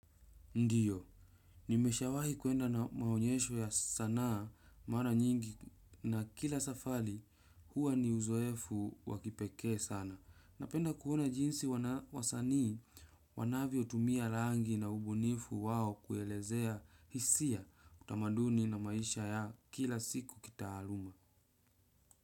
Ndio nimeshawahi kuenda maonyesho ya sanaa mara nyingi na kila safari huwa ni uzoefu wa kipekee sana. Napenda kuona jinsi wasanii wanavyo tumia rangi na ubunifu wao kuelezea hisia, utamaduni na maisha ya kila siku kitaaluma.